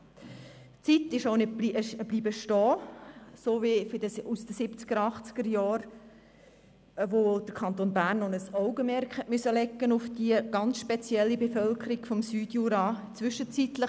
Die Zeit der 1970er- und 1980er-Jahre scheint stehen geblieben, als der Kanton Bern noch ein Augenmerk auf die ganz spezielle Bevölkerung des Süd-Juras halten musste.